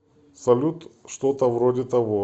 салют что то вроде того